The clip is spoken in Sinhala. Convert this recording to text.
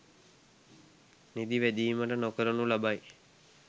නිදි වැදීමද නොකරනු ලබයි